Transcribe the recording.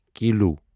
kilo